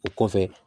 O kɔfɛ